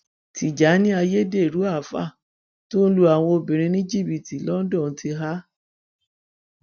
tìjànì ayédèrú afàá tó ń lu àwọn obìnrin ní jìbìtì londo ti há